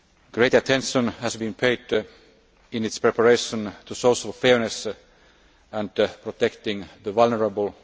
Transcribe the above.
Great attention has been paid in its preparation to social fairness and protecting the vulnerable.